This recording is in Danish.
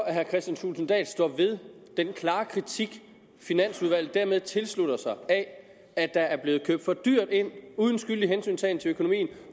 at herre kristian thulesen dahl står ved den klare kritik finansudvalget dermed tilslutter sig af at der er blevet købt for dyrt ind uden skyldig hensyntagen til økonomien